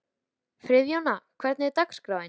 Friðjóna, hvernig er dagskráin?